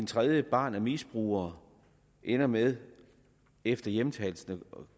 tredje barn af misbrugere ender med efter hjemtagelsen at